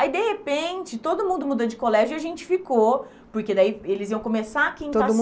Aí, de repente, todo mundo muda de colégio e a gente ficou, porque daí eles iam começar a quinta. Todo